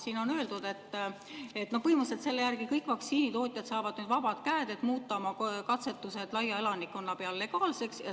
Siin on öeldud, et selle järgi kõik vaktsiinitootjad saavad nüüd põhimõtteliselt vabad käed, et muuta katsetused laia elanikkonna peal legaalseks.